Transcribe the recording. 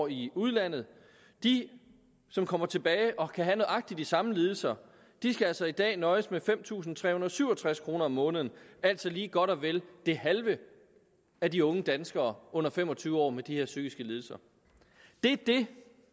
i udlandet de som kommer tilbage og kan have nøjagtig de samme lidelser skal altså i dag nøjes med fem tusind tre hundrede og syv og tres kroner om måneden altså lige godt og vel det halve af de unge danskere under fem og tyve år med de her psykiske lidelser det er det